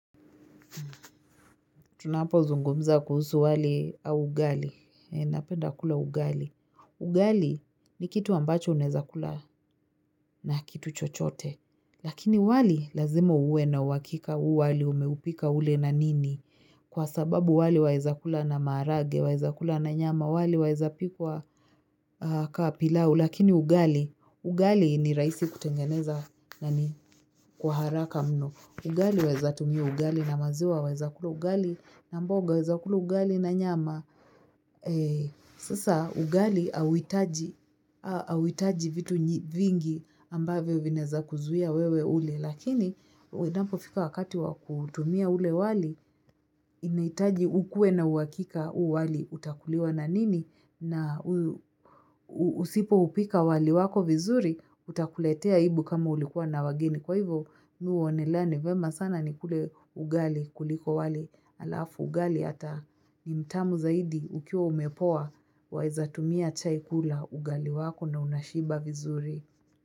Tunapozungumza kuhusu wali au ugali. Napenda kula ugali. Ugali ni kitu ambacho unaeza kula na kitu chochote. Lakini wali lazimoa uwe na uhakika u wali umeupika ule na nini. Kwa sababu wali waeza kula na maharage, waeza kula na nyama, wali waeza pikwa ka pilau. Lakini ugali, ugali ni rahisi kutengeneza na ni kwa haraka mno. Ugali waeza tumia ugali na maziwa waeza kula ugali. Na mboga waeza kula ugali na nyama, sasa ugali hauhitaji vitu vingi ambavyo vinaeza kuzuia wewe ule. Lakini, inapo fika wakati wa kutumia ule wali, inahitaji ukue na uhakika u wali utakuliwa na nini. Na usipoupika wali wako vizuri, utakuletea aibu kama ulikuwa na wageni. Kwa hivyo mimi huonelea ni vyema sana ni kule ugali kuliko wali alafu ugali hata ni mtamu zaidi ukiwa umepoa waeza tumia chai kula ugali wako na unashiba vizuri.